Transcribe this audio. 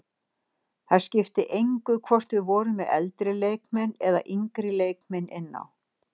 Það skipti engu hvort við vorum með eldri leikmenn eða yngri leikmenn inn á.